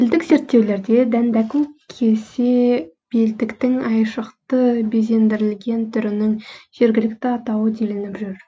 тілдік зертеулерде дәндәку кесе белдіктің айшықты безендірілген түрінің жергілікті атауы делініп жүр